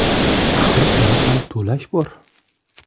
Axir uni ham to‘lash bor.